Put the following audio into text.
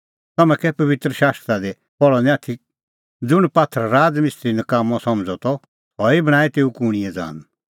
तम्हैं कै पबित्र शास्त्रा दी पहल़अ द निं आथी ज़ुंण पात्थर राज़ मिस्त्री नकाम्मअ समझ़अ त सह ई बणांईं तेऊ कूणींए ज़ान